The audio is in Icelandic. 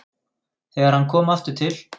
Þegar hann kom aftur til